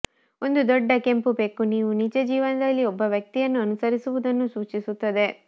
ಒಂದು ದೊಡ್ಡ ಕೆಂಪು ಬೆಕ್ಕು ನೀವು ನಿಜ ಜೀವನದಲ್ಲಿ ಒಬ್ಬ ವ್ಯಕ್ತಿಯನ್ನು ಅನುಸರಿಸುತ್ತಿರುವುದನ್ನು ಸೂಚಿಸುತ್ತದೆ